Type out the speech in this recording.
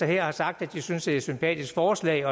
her har sagt at de synes det er et sympatisk forslag